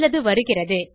சிலது வருகிறது